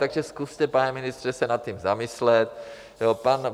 Takže zkuste, pane ministře, se nad tím zamyslet.